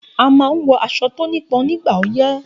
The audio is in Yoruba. A man nwọ aṣọ tónípon nígbà ọyé.